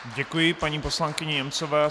Děkuji paní poslankyni Němcové.